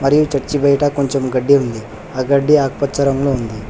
ఈ చర్చి వేటా కొంచెం గడ్డి ఉంది ఆ గడ్డి ఆకుపచ్చ రంగులో ఉంది.